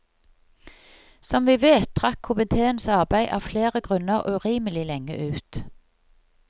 Som vi vet trakk komiteens arbeid av flere grunner urimelig lenge ut.